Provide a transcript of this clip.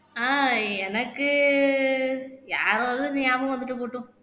ஆஹ் எனக்கு யாரோ வந்து ஞாபகம் வந்துட்டு போகட்டும்